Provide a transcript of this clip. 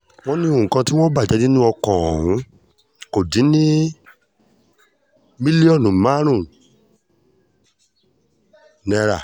wọ́n ní nǹkan tí wọ́n bàjẹ́ nínú ọkọ̀ ọ̀hún kò dín ní mílíọ̀nù márùn-ún náírà